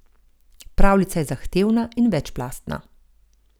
Pravljica je zahtevna in večplastna.